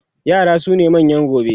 yara sune manyan gobe